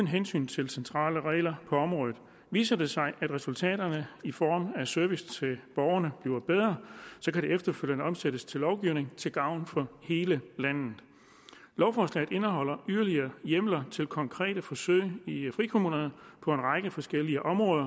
hensyn til centrale regler på området viser det sig at resultaterne i form af service til borgerne bliver bedre kan de efterfølgende omsættes til lovgivning til gavn for hele landet lovforslaget indeholder yderligere hjemler til konkrete forsøg i frikommunerne på en række forskellige områder